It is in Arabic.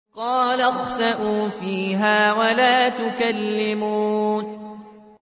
قَالَ اخْسَئُوا فِيهَا وَلَا تُكَلِّمُونِ